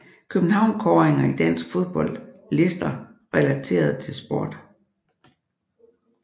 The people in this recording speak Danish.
København Kåringer i dansk fodbold Lister relateret til sport